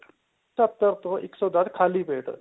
ਸਤਰ ਤੋਂ ਇੱਕ ਸੋ ਦੱਸ ਖਾਲੀ ਪੇਟ